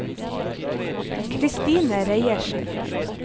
Kristine Reiersen